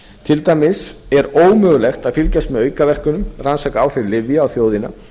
til dæmis er ómögulegt að fylgjast með aukaverkunum rannsaka áhrif lyfja á þjóðina